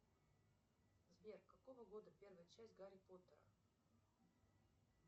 сбер какого года первая часть гарри поттера